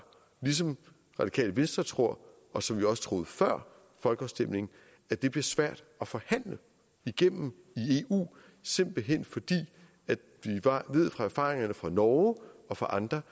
ligesom radikale venstre tror og som vi også troede før folkeafstemningen at det bliver svært at forhandle igennem i eu simpelt hen fordi vi fra erfaringerne fra norge og fra andre